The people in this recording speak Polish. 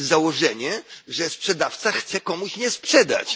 Jest założenie, że sprzedawca chce komuś nie sprzedać.